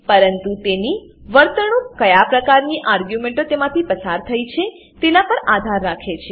પરંતુ તેની વર્તણુક કયા પ્રકારની આર્ગ્યુંમેંટો તેમાંથી પસાર થઇ છે તેના પર આધાર રાખે છે